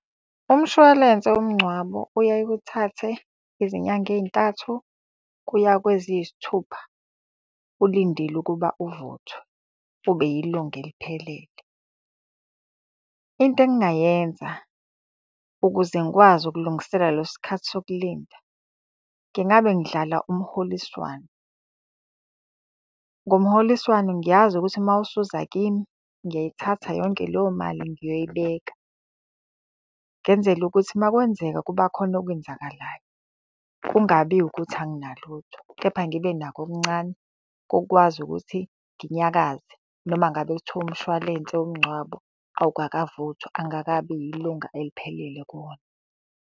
Umshwalense womngcwabo uyaye uthathe izinyanga ey'ntathu kuya kweziyisithupha ulindile ukuba uvuthwe ube yilunga eliphelele. Into engingayenza ukuze ngikwazi ukulungisela leso sikhathi sokulinda, ngingabe ngidlala umholiswano. Ngomholiswano ngiyazi ukuthi uma usuza kimi, ngiyayithatha yonke leyo mali ngiyoyibeka. Ngenzela ukuthi uma kwenzeka kuba khona okwenzakalayo, kungabi ukuthi anginalutho, kepha ngibe nakho okuncane kokwazi ukuthi nginyakaze. Noma ngabe kuthiwa umshwalense womngcwabo awukakavuthwa, angikakabi yilunga eliphelele kuwona.